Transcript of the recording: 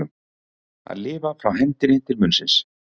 Að lifa frá hendinni til munnsins